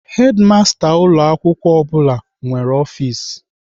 Hedimasta ụlọ akwụkwọ ọ bụla nwere ọfis.